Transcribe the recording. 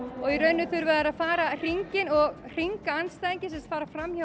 og í rauninni þurfa þeir að fara hringinn og hringa andstæðinginn sem sagt fara fram hjá